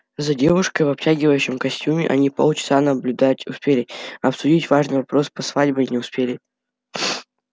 за девушкой в обтягивающем костюме они полчаса наблюдать успели а обсудить важный вопрос со свадьбой не успели